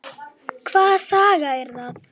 Hvaða saga er það?